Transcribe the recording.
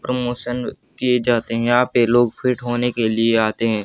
Promotion किए जाते हैं। यहां पे लोग फिट होने के लिए आते है।